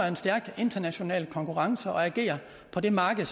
en stærk international konkurrence og agerer på det marked